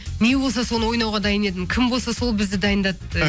не болса соны ойнауға дайын едім кім болса сол бізді дайындады